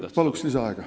Kas soovite lisaaega?